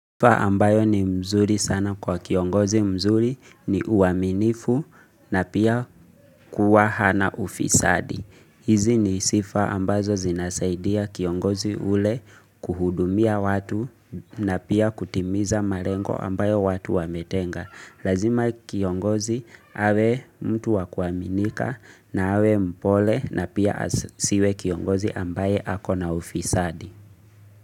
Sifa ambayo ni mzuri sana kwa kiongozi mzuri ni uaminifu na pia kuwa hana ufisadi. Hizi ni sifa ambazo zinasaidia kiongozi ule kuhudumia watu na pia kutimiza malengo ambayo watu wametenga. Lazima kiongozi awe mtu wa kuaminika na awe mpole na pia asiwe kiongozi ambaye ako na ufisadi.